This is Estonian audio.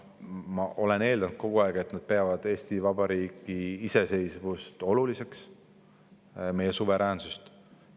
Ma olen eeldanud kogu aeg, et nad peavad Eesti Vabariigi iseseisvust, meie suveräänsust oluliseks.